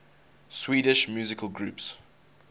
swedish musical groups